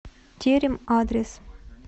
терем адрес